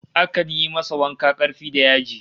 Akan yi masa wanka karfi da yaji